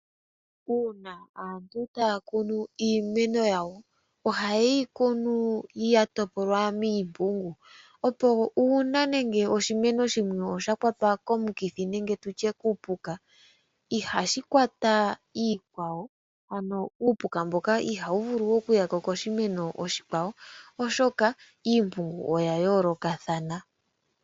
Uuna aantu taya kunu iimeno yawo, ohaye yi kunu ya topolwa miimpungu, opo uuna nenge oshimeno shimwe osha kwatwa komikithi nenge kuupuka ihashi kwata iikwawo, ano uupuka mboka ihawu vulu okuya koshimeno oshikwawo, oshoka iimpungu oya yooloka.